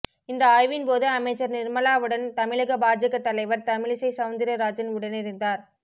இந்த ஆய்வின்போது அமைச்சர் நிர்மலாவுடன் தமிழக பாஜக தலைவர் தமிழிசை செளந்திரராஜன் உடனிருந்தார்